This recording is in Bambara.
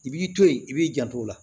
I b'i to yen i b'i janto o la